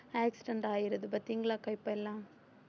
accident ஆயிருது பார்த்தீங்களா இப்ப இப்ப எல்லாம்